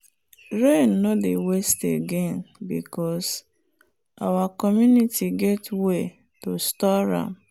rain no dey waste again because our community get way to store am.